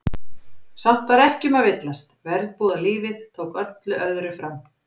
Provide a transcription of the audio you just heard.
Samt var ekki um að villast, verbúðalífið tók öllu öðru fram.